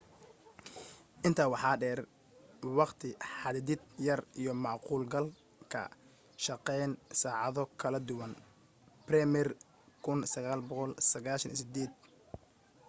intaa waxaa dheer waqti xadidid yar iyo macquul galka shaqeyn saacado kala duwan. bremer 1998